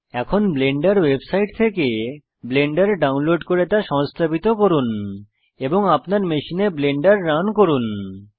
এখন Blender website থেকে Blender download করে তা সংস্থাপিত করুন এবং আপনার মেশিনে ব্লেন্ডার রান করুন